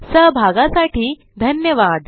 सहभागासाठी धन्यवाद